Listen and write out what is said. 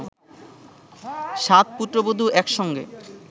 সাত পুত্রবধূ এক সঙ্গে